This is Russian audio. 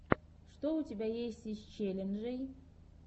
что у тебя есть из челленджей